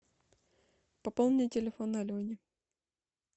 пополни телефон алене